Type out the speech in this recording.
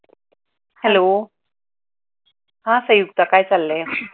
Hello , हा संयुक्ता काय चाललंय?